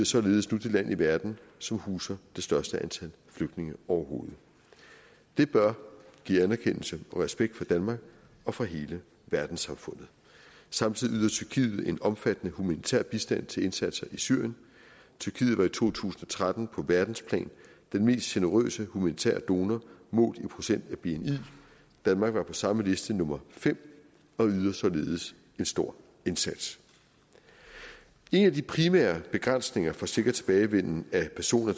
således nu det land i verden som huser det største antal flygtninge overhovedet det bør give anerkendelse og respekt fra danmark og fra hele verdenssamfundet samtidig yder tyrkiet en omfattende humanitær bistand til indsatser i syrien tyrkiet var i to tusind og tretten på verdensplan den mest generøse humanitære donor målt i procent af bni danmark var på samme liste nummer fem og yder således en stor indsats en af de primære begrænsninger for sikker tilbagevenden af personer